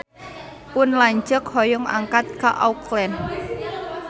Pun lanceuk hoyong angkat ka Auckland